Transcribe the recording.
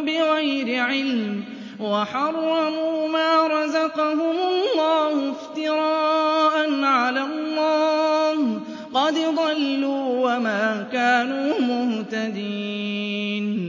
بِغَيْرِ عِلْمٍ وَحَرَّمُوا مَا رَزَقَهُمُ اللَّهُ افْتِرَاءً عَلَى اللَّهِ ۚ قَدْ ضَلُّوا وَمَا كَانُوا مُهْتَدِينَ